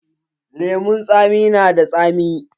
Lemun tsami na da tsami.